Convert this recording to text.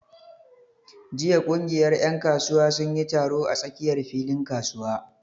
Jiya ƙungiyar ƴan kasuwa sun yi taro a tsakiyar filin kasuwa.